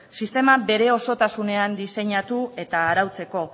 sistema bere osotasunean diseinatu eta arautzeko